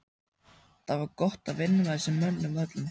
Það var gott að vinna með þessum mönnum öllum.